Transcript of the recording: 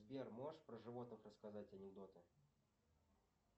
сбер можешь про животных рассказать анекдоты